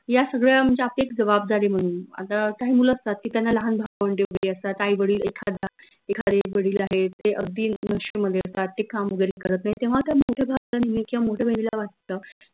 या सगळ्या म्हनजे आपली एक जवाबदारी म्हनून आता काही मुलं असतात की त्यांना लाहान भावंडे असतात आई वडील एखादा एखादे आई वडील आहेत ते अगदी नशे मध्ये असतात ते काम वगैरे करत नाही तेव्हा त्या मोठ्या भावाला किंव्हा मोठ्या बहिणीला वाटत